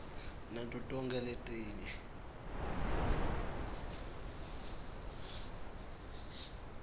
nato tonkhe letinye